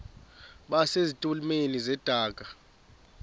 base zitulmeni zedaka